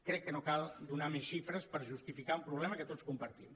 crec que no cal donar més xifres per justificar un problema que tots compartim